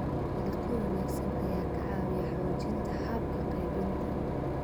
Dalagyo wanaagsan ayaa ka caawiya xoojinta hababka qaybinta.